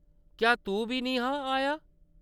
क्या तूं बी निं हा आया ?